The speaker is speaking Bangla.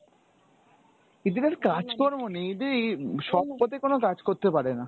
এদের আর কাজকর্ম নেই, এদের এই সৎ পথে কোনো কাজ করতে পারে না।